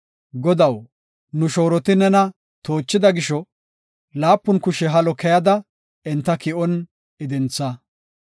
Godaw, nu shooroti nena toochida gisho, laapun kushe halo keyada enta ki7on idintha.